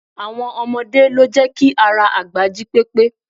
Àwọn ọmọdé lo jẹ́ ki ara àgbà jí pépé